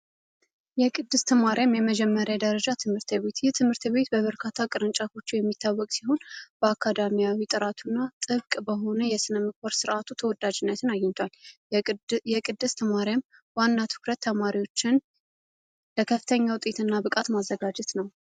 የቅድስት ማርያም የመጀመሪያ ደረጃ ትምህርት ቤት ትምህርት ቤት በበርካታ ቅርንጫፎች የሚታወቅ ሲሆን በአካዳሚያዊ ጥራቱና ጥብቅ በሆነ የስነ ምግባር ስርዓቱ ተወዳጅነትን አግኝቷል። ቅድስት ማርያም ዋና ትኩረት ተማሪዎችን በከፍተኛ ውጤት እና ብቃት ማዘጋጀት ነው።